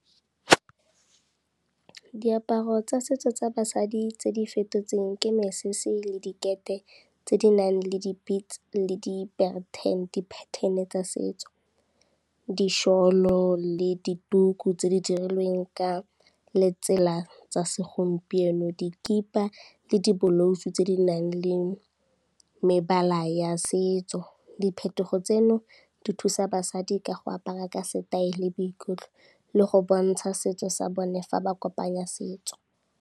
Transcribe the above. Diaparo tsa setso tsa basadi tse di fetotsweng ke mesese le dikete tse di nang le di-beats le di-pattern-e tsa setso, di-shawl-o le dituku tse di dirilweng ka letsela tsa segompieno. Dikipa le dibolouse tse di nang le mebala ya setso, diphetogo tseno di thusa basadi ka go apara ka setaele, boikutlo le go bontsha setso sa bone fa ba kopanya setso.